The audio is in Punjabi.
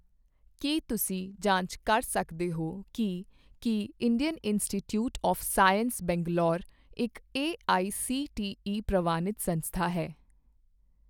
ਕੀ ਤੁਸੀਂ ਜਾਂਚ ਕਰ ਸਕਦੇ ਹੋ ਕੀ ਕੀ Indian institute of science Bangalore ਇੱਕ ਏਆਈਸੀਟੀਈ ਪ੍ਰਵਾਨਿਤ ਸੰਸਥਾ ਹੈ?